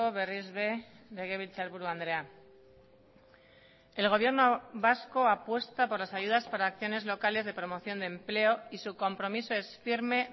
berriz ere legebiltzarburu andrea el gobierno vasco apuesta por las ayudas para acciones locales de promoción de empleo y su compromiso es firme